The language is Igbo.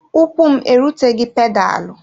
Ụkwụ m eruteghị pedalụ.